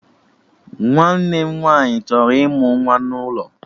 Nwanne m nwaanyị chọrọ ịmụ nwa ya n'ụlọ